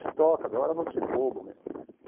Se toca, larga a mão de ser bobo meu irmão.